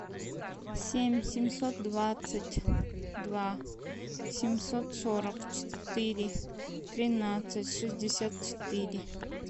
семь семьсот двадцать два семьсот сорок четыре тринадцать шестьдесят четыре